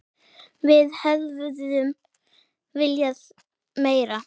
Við hefðum viljað meira.